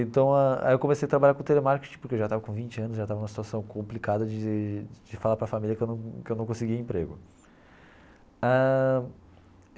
Então ah, aí eu comecei a trabalhar com telemarketing porque eu já estava com vinte anos, já estava numa situação complicada de de falar para família que eu não que eu não conseguia emprego ãh.